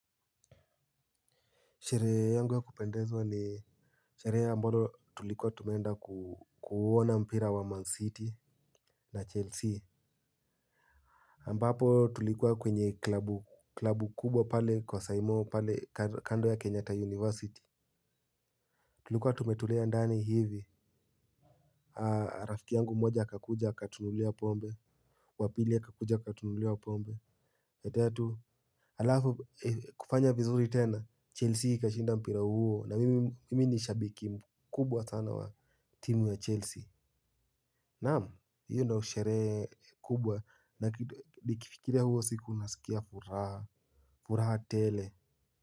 Sherehe yangu ya kupendezwa ni shereje ambalo tulikuwa tume enda kuona mpira wa Man City na Chelsea Ambapo tulikuwa kwenye klabu klabu kubwa pale kwa Saimo pale kando ya Kenyatta University. Tulikuwa tumetulia ndani hivi rafiki yangu mmoja akakuja akatununulia pombe. Wa pili akakuja akatunulia pombe. Ya tatu halafu kufanya vizuri tena Chelsea ikashinda mpira huo na mimi ni shabiki mkubwa sana wa timu ya Chelsea. Naam, hiyo ndiyo sherehe kubwa na nikifikiria huo siku nasikia furaha furaha tele.